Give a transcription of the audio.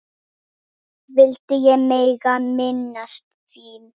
vildi ég mega minnast þín.